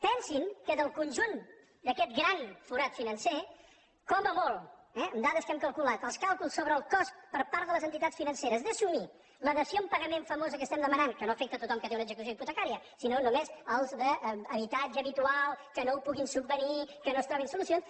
pensin que del conjunt d’aquest gran forat financer com a molt amb dades que hem calculat els càlculs sobre el cost per part de les entitats financeres d’assumir la dació en pagament famosa que demanem que no afecta a tothom que té una execució hipotecària sinó només als d’habitatge habitual que no ho puguin subvenir que no trobin solucions